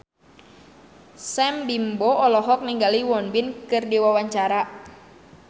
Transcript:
Sam Bimbo olohok ningali Won Bin keur diwawancara